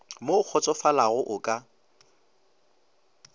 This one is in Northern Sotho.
mo o kgotsofalago o ka